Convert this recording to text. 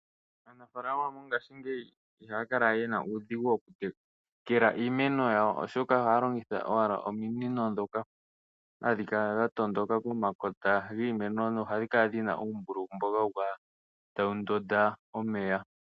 Aanafaalama mongashingeyi ihaya kala ye na uudhigu okutekela iimeno yawo, oshoka ohaya longitha owala ominino ndhoka hadhi kala dha tondoka pomakota giimeno nohadhi kala dhi na uumbululu mboka hawu kala tawu ndonda omeya.